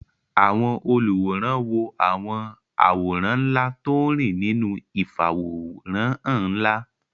Àwọn olùwòran wo àwọn àwòrán ńlá tó ń rìn nínú ìfàwòránhàn ńlá